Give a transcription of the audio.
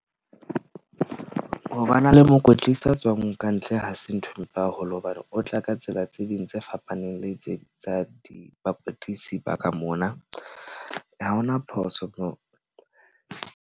Ho ba na le mokwetlisi a tswang kantle ha se nthwe mpe haholo. Hobane o tla ka tsela tse ding tse fapaneng le tse tsa di bakwetlisi ba ka mona. Ha hona phoso moo.